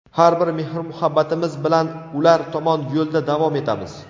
har bir mehrmuhabbatimiz bilan ular tomon yo‘lda davom etamiz.